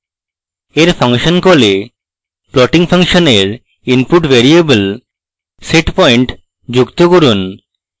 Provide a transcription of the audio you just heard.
এর ফাংশন কলে plotting ফাংশনের input ভ্যারিয়েবলে setpoint যুক্ত করুন